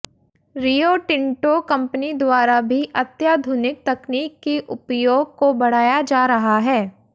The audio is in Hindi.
रियो टिंटो कंपनी द्वारा भी अत्याधुनिक तकनीक के उपयोग को बढा़या जा रहा है